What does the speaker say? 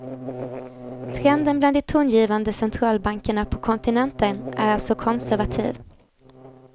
Trenden bland de tongivande centralbankerna på kontinenten är alltså konservativ.